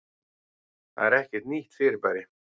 Það er ekkert nýtt fyrirbæri.